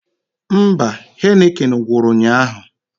Mba, Heineken gwụrụ ụnyaahụ